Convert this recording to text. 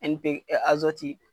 N P